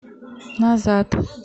назад